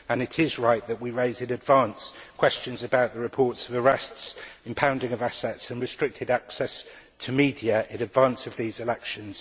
It is right that we raise in advance questions about the reports of arrests, impounding of assets and restricted access to media in advance of these elections.